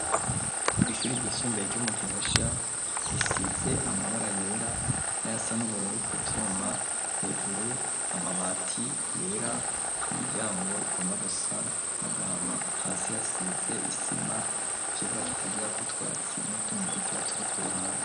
Kw' ishuri ryisumbuye ryo mu Gihosha risize amabara yera n'ayasa n'ubururu ku vyuma, hejuru amabati yera, imiryango igomba gusa n' agahama, hasi hasize isima, ikibuga kitagirako utwatsi, n'utundi dukeya turi ku ruhande.